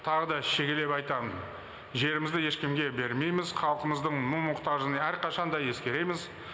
тағы да шегелеп айтамын жерімізді ешкімге бермейміз халықымыздың мұң мұқтажын әрқашан да ескереміз